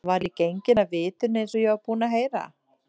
Var ég genginn af vitinu eins og ég var búinn að heyra?